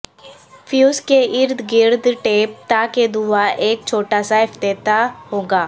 fuse کے ارد گرد ٹیپ تاکہ دھواں ایک چھوٹا سا افتتاح ہوگا